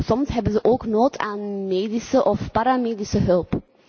Soms hebben ze ook nood aan medische of paramedische hulp.